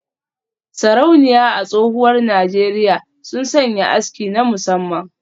Sarauniya a tsohuwar Najeriya sun sanya aski na musamman